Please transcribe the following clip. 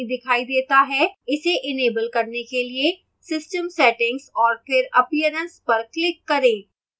इसे enable करने के लिए system settings और फिर appearance पर click करें